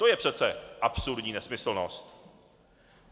To je přece absurdní nesmyslnost.